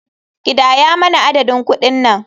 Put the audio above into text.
Kidaya mana adadin kuɗin nan.